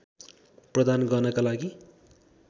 प्रदान गर्नका लागि